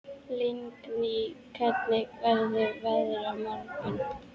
Lingný, hvernig verður veðrið á morgun?